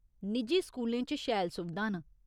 निजी स्कूलें च शैल सुविधां न।